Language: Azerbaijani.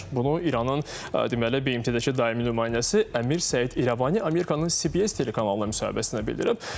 Bunu İranın, deməli, BMT-dəki daimi nümayəndəsi Əmir Səid İrəvani Amerikanın CBS telekanalına müsahibəsində bildirib.